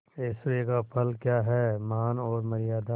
ऐश्वर्य का फल क्या हैमान और मर्यादा